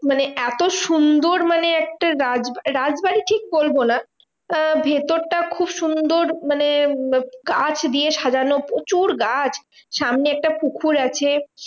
মানে এত সুন্দর মানে একটা রাজবাড়ী, রাজবাড়ী ঠিক বলবো না, আহ ভেতরটা খুব সুন্দর মানে গাছ দিয়ে সাজানো প্রচুর গাছ, সামনে একটা পুকুর আছে।